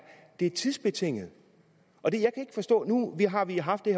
det tidsbetinget nu har vi haft det